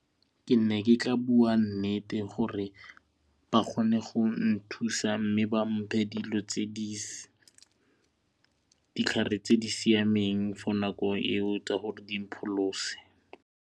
Ke ne ke ka bua nnete gore ba kgone go nthusa mme ba mphe ditlhare tse di siameng for nako eo tsa gore di mpholose.